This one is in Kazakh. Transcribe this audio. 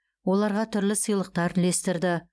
оларға түрлі сыйлықтар үлестірді